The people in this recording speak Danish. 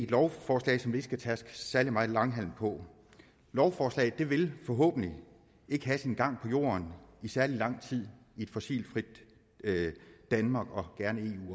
lovforslag som vi ikke skal tærske særlig meget langhalm på lovforslaget vil forhåbentlig ikke have sin gang på jorden i særlig lang tid i et fossilfrit danmark og